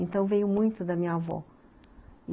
Então, veio muito da minha avó.